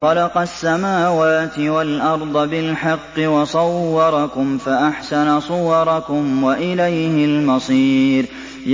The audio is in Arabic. خَلَقَ السَّمَاوَاتِ وَالْأَرْضَ بِالْحَقِّ وَصَوَّرَكُمْ فَأَحْسَنَ صُوَرَكُمْ ۖ وَإِلَيْهِ الْمَصِيرُ